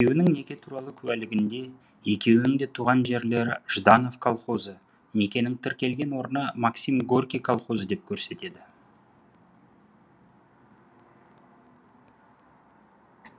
екеуінің неке туралы куәлігінде екеуінің де туған жерлері жданов колхозы некенің тіркелген орны максим горький колхозы деп көрсетеді